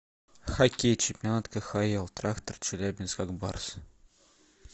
хоккей чемпионат кхл трактор челябинск ак барс